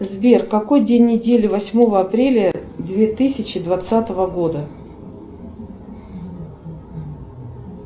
сбер какой день недели восьмого апреля две тысячи двадцатого года